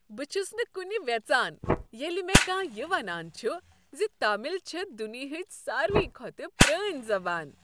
بہٕ چھس نہٕ کنہ ویژان ییٚلہ مےٚ کانٛہہ یہ ونان چھ ز تامل چھےٚ دنیاہٕچ ساروٕے کھۄتہٕ پرٲنۍ زبان۔